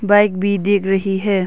Bike भी देग रही है।